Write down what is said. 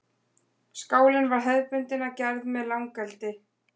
Skálinn var hefðbundinn að gerð með langeldi.